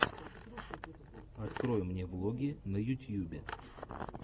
открой мне влоги на ютьюбе